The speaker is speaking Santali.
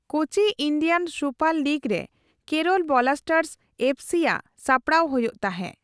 ᱠᱳᱪᱤ ᱤᱱᱰᱤᱭᱟᱱ ᱥᱩᱯᱟᱨ ᱞᱤᱜ ᱨᱮ ᱠᱮᱨᱚᱞ ᱵᱚᱞᱟᱥᱴᱟᱨᱥ ᱮᱯᱷᱥᱤ ᱟᱜ ᱥᱟᱯᱲᱟᱣ ᱦᱳᱭᱳᱜ ᱛᱟᱦᱮᱸ ᱾